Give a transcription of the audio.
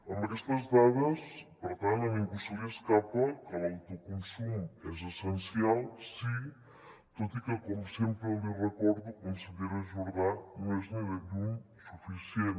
amb aquestes dades per tant a ningú se li escapa que l’autoconsum és essencial sí tot i que com sempre li recordo consellera jordà no és ni de lluny suficient